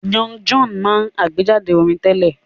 Young John máa àgbéjáde orin tẹ́lẹ̀